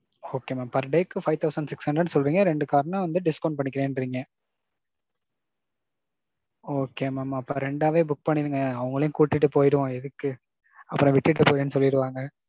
Okay mam. Per day க்கு five thousand six hundred சொல்றீங்க, ரெண்டு car னா வந்து discount பன்னிக்குறேன்ரீங்க. Okay mam அப்பறம் ரெண்டாவே book பண்ணிருங்க அவங்களையும் கூட்டிட்டு போயிருவோம் எதுக்கு. அப்பறோம் விட்டுட்டு போறேன்னு சொல்லிடுவாங்க.